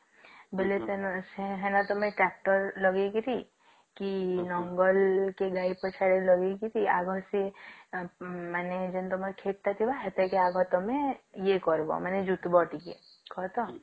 ବୋଲେ ତମେ ସେ ହେନା tractor ଲଗେଇକିରୀ କି ନଙ୍ଗଲ କି ଗାଈ ପଛଆଡ଼େ ଲଗେଇକିରୀ ଆଗ ସିଏ ଏଁ ମାନେ ତମର ଯେନ ତମର କ୍ଷେତ ଟା ଥିଲା ସେଥିରେ କି ଆଗ ତମେ ଇଏ କରିବ ମାନେ